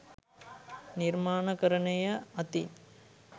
නිර්මාණකරණය අතින්